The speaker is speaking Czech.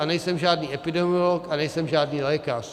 A nejsem žádný epidemiolog a nejsem žádný lékař.